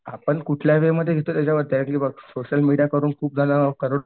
आपण कुठल्या वे मध्ये बघ सोशल मीडिया करून खूप जणांना